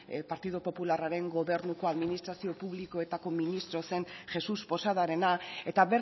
partidu popularraren gobernuko administrazio publikoetako ministro zen jesús posadarena eta